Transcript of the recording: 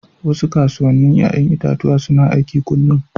Wasu kasuwannin 'ya'yan itatuwa suna aiki kullum.